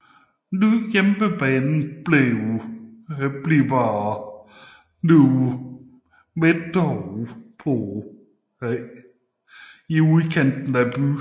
Ny hjemmebane bliver New Meadow på Oteley Road i udkanten af byen